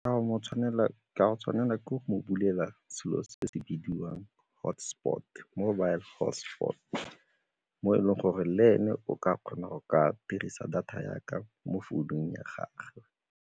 Ke a go tshwanela ke go mo bulela selo se se bidiwang hotspot, mobile hotspot mo e leng gore le ene o ka kgona go ka dirisa data ya ka mo founung ya gagwe.